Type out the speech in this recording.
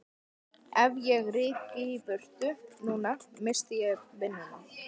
Ef ég ryki í burtu núna missti ég vinnuna.